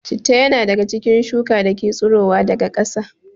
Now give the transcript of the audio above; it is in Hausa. Citta ya na daga cikin shuka dake tsiro daga kara